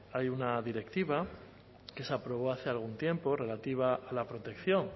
hay una directiva que se aprobó hace algún tiempo relativa a la protección